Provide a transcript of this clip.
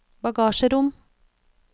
bagasjerom